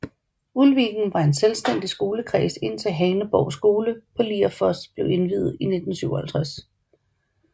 Ulviken var en selvstændig skolekreds indtil Haneborg skole på Lierfoss blev indviet i 1957